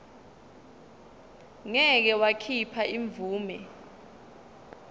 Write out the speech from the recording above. ngeke wakhipha imvume